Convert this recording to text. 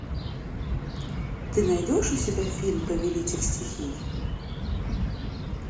ты найдешь у себя фильм повелитель стихий